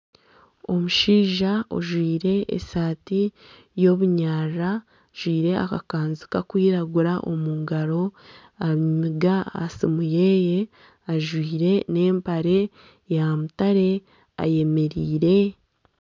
Omushaija ajwaire esaati y'obunyarara ajwaire akakwanzi Kari kwiragura omu ngaro ,ariyo namiga aha sumu yeye ajwaire nana empare ya mutare ayemereire .